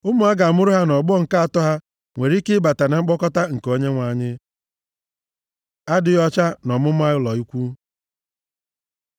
Ụmụ a ga-amụrụ ha nʼọgbọ nke atọ ha nwere ike ịbata na mkpọkọta nke Onyenwe anyị. Adịghị ọcha nʼọmụma ụlọ ikwu